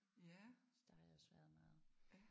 Så der har jeg også været meget